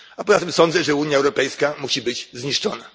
A poza tym sądzę, że Unia Europejska musi być zniszczona.